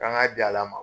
K'an ka di ala ma